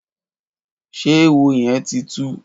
Ṣé éwó yèn ti tú?